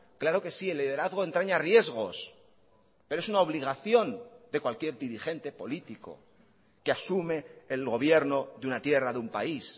claro que sí el liderazgo entraña riesgos pero es una obligación de cualquier dirigente político que asume el gobierno de una tierra de un país